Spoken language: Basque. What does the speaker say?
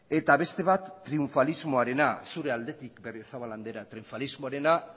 eta beste bat triunfalismoarena zure aldetik berriozabal andrea triunfalismoarena